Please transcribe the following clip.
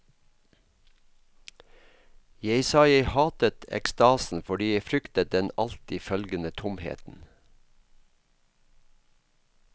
Jeg sa jeg hatet ekstasen fordi jeg fryktet den alltid følgende tomheten.